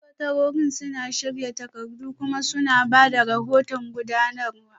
Sakatarorin suna shirya takardu kuma suna ba da rahoton gudanarwa